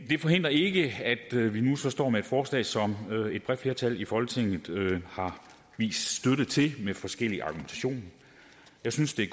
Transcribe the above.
forhindrer ikke at vi vi nu står med et forslag som et bredt flertal i folketinget har vist støtte til med forskellig argumentation jeg synes det